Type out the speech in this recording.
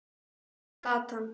Sama gatan.